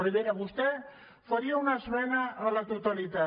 vera vostè faria una esmena a la totalitat